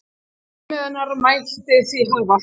Til viðmiðunar mætti því hafa